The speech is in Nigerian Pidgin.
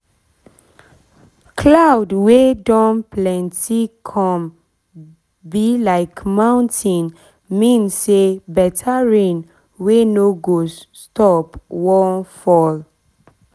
cloud wey don plenty come be like mountain mean say better rain wey no go [?.] stop wan fall